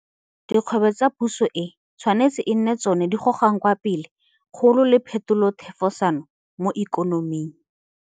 Dikgwebo tsa Puso e tshwanetse e nne tsona tse di gogang kwa pele kgolo le phetolothefosano mo ikonoming.